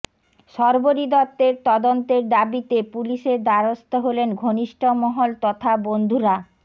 শর্বরী দত্তের তদন্তের দাবিতে পুলিশের দ্বারস্থ হলেন ঘনিষ্ঠমহল তথা বন্ধুরা